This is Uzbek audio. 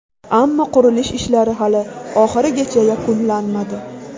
Ammo qurilish ishlari hali oxirigacha yakunlanmadi.